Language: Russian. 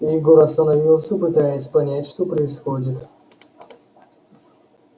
егор остановился пытаясь понять что происходит